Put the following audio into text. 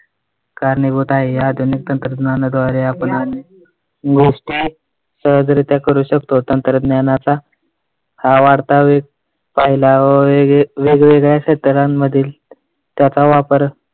कारणीभूत आहे. आधुनिक तंत्रज्ञानाद्वारे आपण गोष्टी सहजरीत्या करू शकतो. तंत्रज्ञानाचा हा वाढता वेग होईल पाहिलाय वेगवेगळ्या क्षेत्रांमध्ये त्याचा वापर